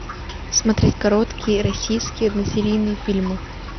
смотреть короткие российские односерийные фильмы